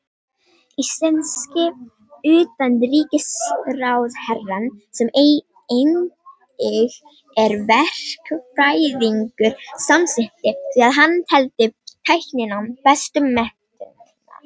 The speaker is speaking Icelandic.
Íslenski utanríkisráðherrann, sem einnig er verkfræðingur, samsinnti því að hann teldi tækninám bestu menntunina.